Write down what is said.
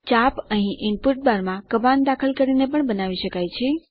arc અહીં input બારમાં command દાખલ કરીને પણ બનાવી શકાય છે